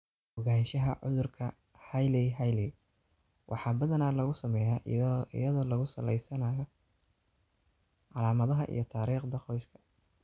Ogaanshaha cudurka Hailey Hailey waxaa badanaa lagu sameeyaa iyadoo lagu salaynayo calaamadaha iyo taariikhda qoyska.